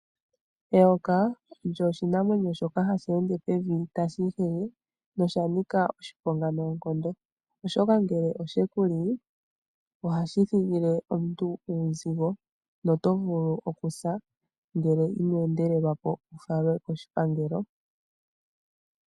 Eyoka olyo oshinamwenyo shoka hashi ende pevi tashi ihege noshanika oshiponga noongondo oshoka ngele oshekuli ohashi thigile omuntu uuzigo na oto vulu oku sa ngele ino endelelwapo wufalwe koshipangelo.